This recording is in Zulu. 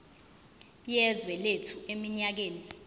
yezwe lethu eminyakeni